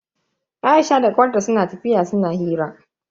Aisha da kawar ta suna tafiya suna hira.